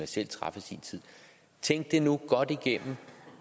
selv traf i sin tid tænk det nu godt igennem